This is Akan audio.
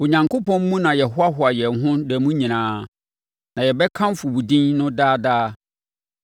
Onyankopɔn mu na yɛhoahoa yɛn ho da mu nyinaa na yɛbɛkamfo wo din no daa daa.